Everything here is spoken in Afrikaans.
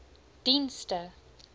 dienste